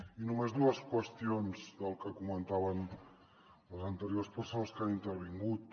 i només dues qüestions del que comentaven les anteriors persones que han intervingut